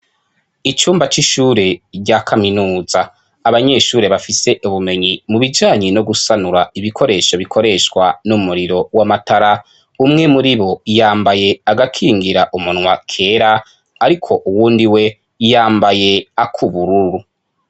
Icumba c'ishure rya kaminuza, abanyeshuri bafise ubumenyi mu bijanye no gusanura ibikoresho bikoreshwa n'umuriro w'amatara umwe muri bo yambaye agakingira umunwa kera ariko uwundi we yambaye akubururu.